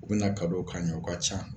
U bɛna na k'an ye o ka ca